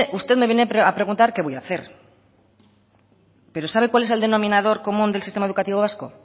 usted me viene a preguntar qué voy a hacer pero sabe cuál es el denominador común del sistema educativo vasco